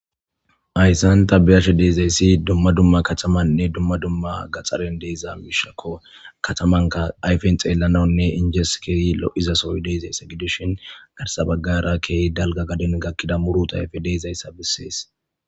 hayssan ta biyashe deezayssi dumma dumma katamanne dumma dumma gaxaren deeza miishako katamanka ayfen xeellanaunne injeskeyi lo7izasoy deezayssa gidushin garsabagara key dalga gadin gakkida murutayfe deezayssa bissees